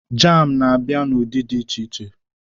Jam na-abịa n'ụdị dị iche iche